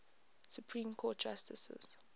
supreme court justices